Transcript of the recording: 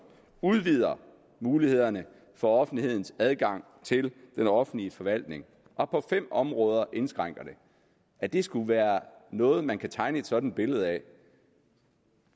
udvider mulighederne for offentlighedens adgang til den offentlige forvaltning og på fem områder indskrænker dem at det skulle være noget man kunne tegne et sådant billede af